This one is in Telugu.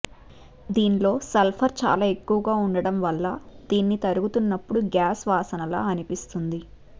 దీన్లో సల్ఫర్ చాలా ఎక్కువగా ఉండడం వల్ల దీన్ని తరుగుతున్నప్పుడు గ్యాస్ వాసనలా అనిపిస్తుంది